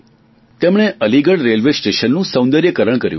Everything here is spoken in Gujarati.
તેમણે અલીગઢ રેલવે સ્ટેશનનું સૌંદર્યકરણ કર્યું છે